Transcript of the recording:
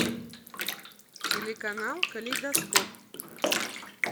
телеканал калейдоскоп